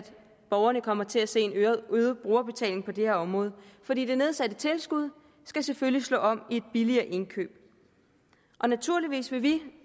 borgerne kommer til at se en øget brugerbetaling på det her område for det nedsatte tilskud skal selvfølgelig slå om i et billigere indkøb naturligvis vil vi